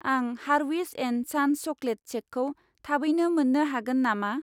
आं हारविस and sons chocolate सेकखौ थाबैनो मोन्नो हागोन नामा?